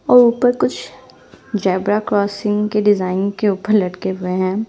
और ऊपर कुछ जेब्रा क्रासिंग के डिजाइन के ऊपर लटके हुए है।